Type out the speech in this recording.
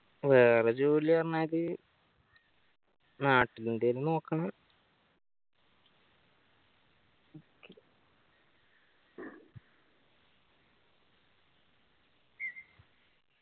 വേറെ ജോലി പറഞാല് നാട്ടില് എന്തേലും നോക്കണം